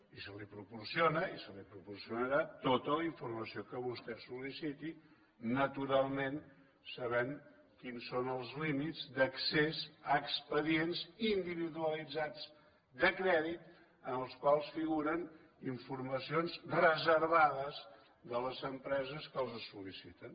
i se li proporciona i se li proporcionarà tota la informació que vostè sol·liciti naturalment sabent quins són els límits d’accés a expedients individualitzats de crèdit en els quals figuren informacions reservades de les empreses que els solliciten